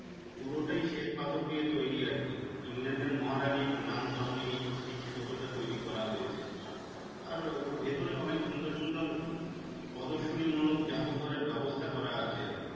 পুরোটাই শ্বেত পাথর দিয়ে তৈরী আর কি ইংল্যান্ডের মহারানীর নাম করণে এই স্মৃতিসৌধটা তৈরী করা হয়েছে। আর ওর ভেতরে অনেক সুন্দর সুন্দর পদর্শনী মূলক জাদুঘরের ব্যবস্থা করা আছে আর কি।